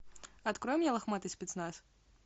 открой мне лохматый спецназ